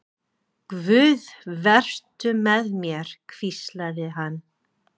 Guð, vertu með mér, hvíslaði hann.